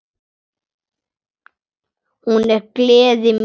Hún er gleði mín.